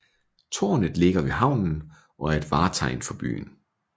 Tårnet ligger ved havnen og er et vartegn for byen